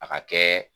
A ka kɛ